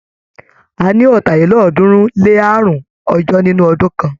A ní ọ̀tàlélọ́ọ̀ọ́dúnrún-lé-àrún ọjọ́ nínú ọdún kan.